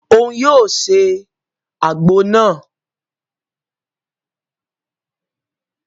Òun yóò se àgbo náà